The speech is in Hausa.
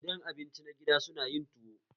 Gidan abinci na gida su na yin tuwo?